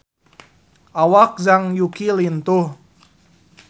Awak Zhang Yuqi lintuh